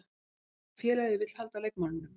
Félagið vill halda leikmanninum.